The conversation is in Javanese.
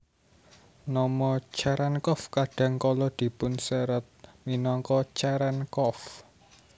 Nama Cherenkov kadang kala dipunserat minangka Cerenkov